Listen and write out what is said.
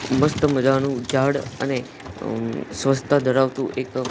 મસ્ત મજાનું ઝાડ અને અંમ સ્વચ્છતા ધરાવતું એક--